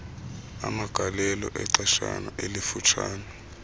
amagalelo exeshana elifutshane